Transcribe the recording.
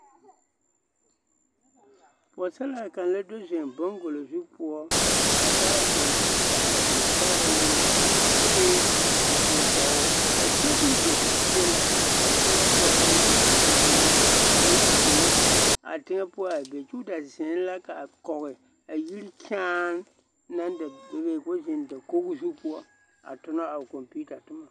Pɔgesaraa kaŋa la do zeŋ baŋgolozu poɔ a taa o kɔmpiita a zeŋ sɛgerɛ ne yɛlɛ kyɛ ka kolee a biŋ kɔge o, a sobiri da sigi be la a teŋɛ poɔ ka lɔɛ ata naŋ a meŋ zoro a teŋɛ poɔ a be k'o da zeŋ la k'a kɔge a yiri kyaane naŋ da bebe k'o zeŋ dakogi zu poɔ a tona a o kɔmpiita toma.